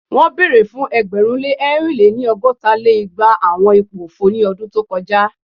Won bere fun ẹgbẹ̀rún lé ẹ̀rin lé-ní- ọgọ́ta lé igba awọn ipo ofo ni ọdun to kọja